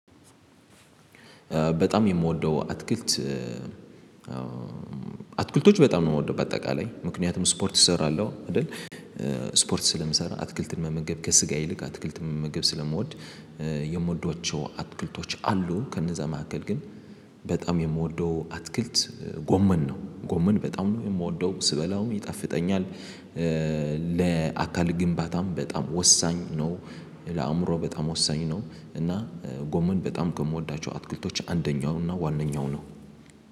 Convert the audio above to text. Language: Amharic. በጣም የምወደው አትክልት አትክልቶች በጣም ነው የምወደው በአጠቃላይ ምክንያቱም ስፖርት እሰራለሁ አይደል ስፖርት ስለምሰራ አትክልትን መመገብ ከስጋ ይልቅ አትክልትን መመገብ ስለምወድ የምወዳቸው አትክልቶች አሉ ከነዛ መካከል ግን በጣም የምወደው አትክልት ጎመን ነው ጎመን በጣም ነው የምወደው ስበላውም ይጣፍጠኛል ለአካል ግንባታም በጣም ወሳኝ ነው፣ ለአእምሮ በጣም ወሳኝ ነው እና ጎመን በጣም ከምወዳቸው አትክልቶች አንደኛው እና ዋነኛው ነው።